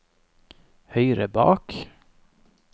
høyre bak